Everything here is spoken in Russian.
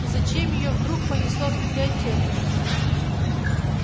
и зачем её вдруг понесло в библиотеку